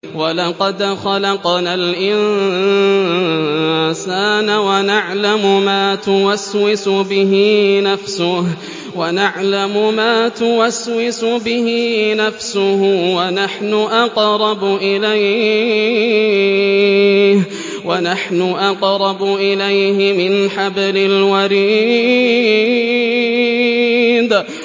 وَلَقَدْ خَلَقْنَا الْإِنسَانَ وَنَعْلَمُ مَا تُوَسْوِسُ بِهِ نَفْسُهُ ۖ وَنَحْنُ أَقْرَبُ إِلَيْهِ مِنْ حَبْلِ الْوَرِيدِ